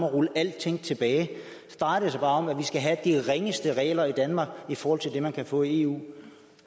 rulle alting tilbage og om at vi skal have de ringeste regler i danmark i forhold til det man kan få i eu